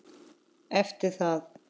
Eftir það